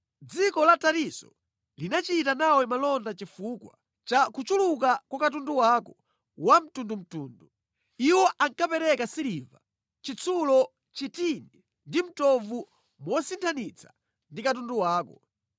“Dziko la Tarisisi linachita nawe malonda chifukwa cha kuchuluka kwa katundu wako wamtundumtundu. Iwo ankapereka siliva, chitsulo, chitini ndi mtovu mosinthanitsa ndi katundu wako.